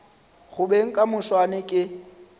go beng ka moswane ke